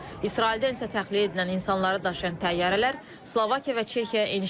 İsraildən isə təxliyə edilən insanları daşıyan təyyarələr Slovakiya və Çexiyaya eniş edib.